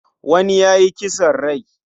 Wani ya yi kisan kai.